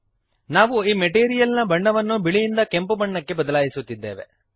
ನಾವು ಈ ಮೆಟೀರಿಯಲ್ ನ ಬಣ್ಣವನ್ನು ಬಿಳಿಯಿಂದ ಕೆಂಪು ಬಣ್ಣಕ್ಕೆ ಬದಲಾಯಿಸುತ್ತಿದ್ದೇವೆ